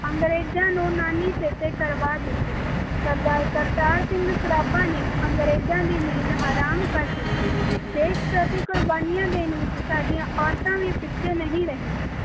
ਅੰਗਰੇਜਾਂ ਨੂੰ ਨਾਨੀ ਚੇਤੇ ਕਰਵਾ ਦਿੱਤੀ ਸਰਦਾਰ ਕਰਤਾਰ ਸਿੰਘ ਸਰਾਭਾ ਨੇ ਅਨਰੇਜਾਂ ਦੀ ਨੀਂਦ ਹਰਮ ਕਰ ਦਿੱਤੀ ਦੇਸ਼ ਪ੍ਰਤੀ ਕੁਰਬਾਨੀਆਂ ਦੇਣ ਵਿਚ ਸਾਡੀਆਂ ਔਰਤਾਂ ਵੀ ਪਿੱਛੇ ਨਹੀਂ ਰਹੀਆਂ